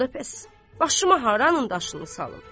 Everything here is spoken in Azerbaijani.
Onda bəs başıma haranın daşını salım?